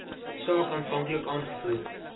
saak aanvanklik aangevoer